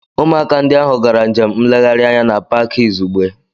Ụmụaka ndị ahụ gara njem nlegharị anya na Pááki izugbe